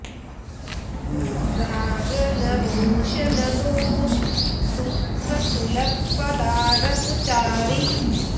राग न रोष न दोष दुख सुलभ पदारथ चारि